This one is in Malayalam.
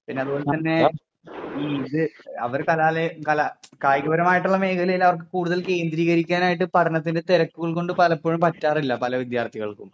പിന്നെ അത് പോലെ തന്നെ അവർ കലാലയ കല കായിക പരമായിട്ടുള്ള മേഖലയിൽ അവർക്ക് കൂടുതൽ കേന്ദ്രീകരിക്കാനായിട്ട് പഠനത്തിന്റെ തിരക്കുകൾ കൊണ്ട് പലപ്പോഴും പറ്റാറില്ല പല വിദ്യാർഥികൾക്കും.